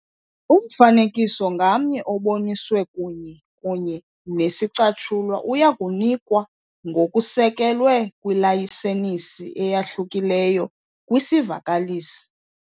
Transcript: Umfanekiso ngamnye oboniswe kunye kunye nesicatshulwa uya kunikwa ngokusekelwe kwilayisenisi eyahlukileyo kwisivakalisi.